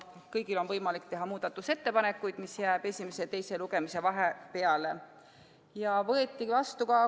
Kõigil on võimalik teha esimese ja teise lugemise vahel muudatusettepanekuid.